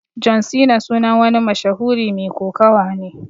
John Cena sunan wani mashahuri Mai kokawa ne.